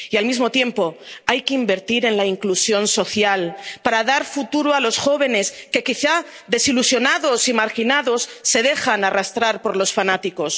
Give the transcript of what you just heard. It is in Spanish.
Y, al mismo tiempo, hay que invertir en la inclusión social, para dar futuro a los jóvenes que, quizá desilusionados y marginados, se dejan arrastrar por los fanáticos.